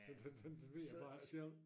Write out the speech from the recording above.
Den den den den ved det bare ikke selv